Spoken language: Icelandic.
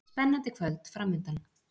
Spennandi kvöld framundan